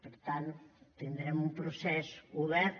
per tant tindrem un procés obert